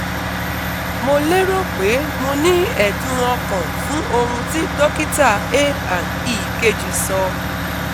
Mo érò pé mo ní ẹ̀dùn ọkàn fún ohun tí dókítà A and E kejì sọ